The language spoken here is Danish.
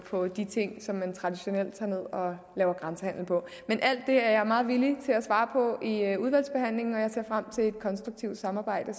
på de ting som man traditionelt tager ned og laver grænsehandel på men alt det er jeg meget villig til at svare på i udvalgsbehandlingen og jeg ser frem til et konstruktivt samarbejde